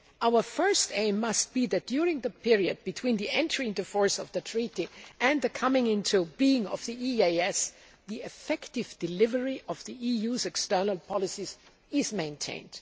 Our first aim must be that during the period between the entry into force of the Treaty and the coming into being of the EEAS, the effective delivery of the EU's external policies is maintained.